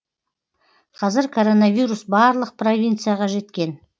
қазір коронавирус барлық провинцияға жеткен